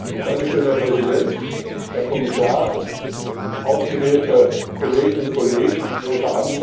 Herr Präsident, Herr Kommissar, ausgewählte Kolleginnen und Kollegen in großer Anzahl!